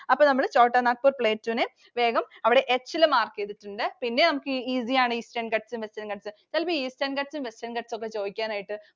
അപ്പോൾ നമ്മൾ Chotanagpur Plateau നെ വേഗം അവിടെ S ൽ mark ചെയ്‌തിട്ടുണ്ട്‌. പിന്നെ നമുക്ക് easy ആണ്. Eastern Ghats ഉം Western Ghats ഉം. ചിലപ്പോൾ Eastern Ghats ഉം Western Ghats ഉം ഒക്കെ ചോദിക്കാനായിട്ട്